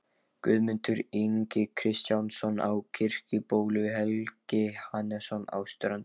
Guðmundur Ingi Kristjánsson á Kirkjubóli, Helgi Hannesson á Strönd